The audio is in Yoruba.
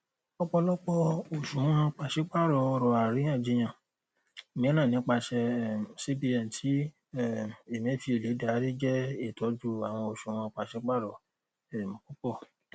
ọpọlọpọ oṣuwọn paṣipaarọ ọrọ ariyanjiyan miiran nipasẹ um cbn ti um emefiele dari jẹ itọju awọn oṣuwọn paṣipaarọ um pupọ